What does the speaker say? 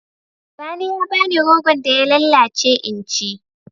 Sani ya ba ni rogon da ya lallace in ci.